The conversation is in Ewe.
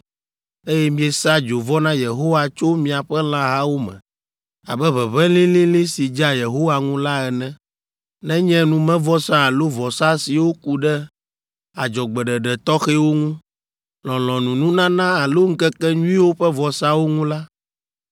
eye miesa dzovɔ na Yehowa tso miaƒe lãhawo me, abe ʋeʋẽ lĩlĩlĩ si dzea Yehowa ŋu la ene, nenye numevɔsa alo vɔsa siwo ku ɖe adzɔgbeɖeɖe tɔxɛwo ŋu, lɔlɔ̃nununana alo Ŋkekenyuiwo ƒe vɔsawo ŋu la,